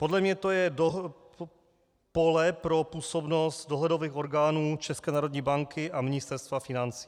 Podle mě to je pole pro působnost dohledových orgánů České národní banky a Ministerstva financí.